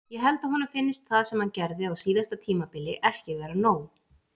Ég held að honum finnist það sem hann gerði á síðasta tímabili ekki vera nóg.